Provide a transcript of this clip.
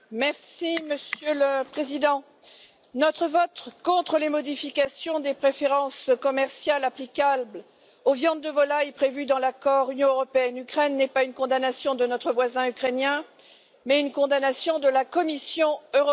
Monsieur le Président, notre vote contre les modifications des préférences commerciales applicables aux viandes de volailles, prévues dans l'accord Union européenne Ukraine, n'est pas une condamnation de notre voisin ukrainien mais une condamnation de la Commission européenne.